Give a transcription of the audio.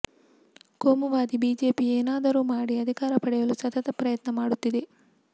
ಕೋಮುವಾದಿ ಬಿಜೆಪಿ ಏನಾದರೂ ಮಾಡಿ ಅಧಿಕಾರ ಪಡೆಯಲು ಸತತ ಪ್ರಯತ್ನ ಮಾಡುತ್ತಿದೆ